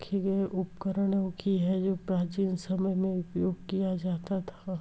उपकरणों कि है जो प्राचीन समय मे उपयोग किया जाता था।